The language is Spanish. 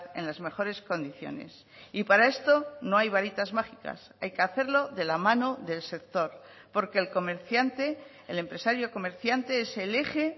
en las mejores condiciones y para esto no hay varitas mágicas hay que hacerlo de la mano del sector porque el comerciante el empresario comerciante es el eje